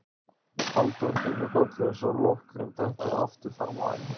Halldóra kinkar kolli svo lokkurinn dettur aftur fram á ennið.